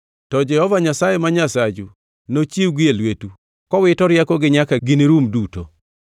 To Jehova Nyasaye ma Nyasachu nochiwgi e lwetu, kowito riekogi nyaka ginirum duto.